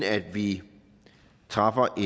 vi træffer